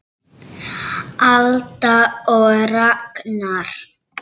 Alda og Ragnar.